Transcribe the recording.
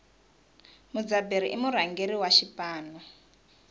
mudzaberi i murhangeri wa xipano